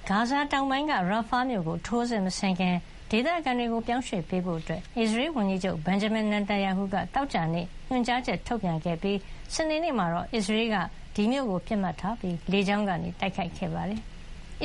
ဂါဇာ တောင်ပိုင်းက Rafah မြို့ကို ထိုးစစ်မဆင်ခင် ဒေသခံတွေ ပြောင်းရွှေ့ပေးဖို့ အစ္စရေးဝန်ကြီးချုပ် Benjamin Netanyahu က သောကြာနေ့က ညွှန်ကြားချက် ထုတ်ပြန်ခဲ့ပြီး စနေနေ့မှာတော့ အစ္စရေးတပ်က ဒီမြို့ကို ပစ်မှတ်ထားပြီး လေကြောင်းကနေ တိုက်ခိုက်ခဲ့ပါတယ်။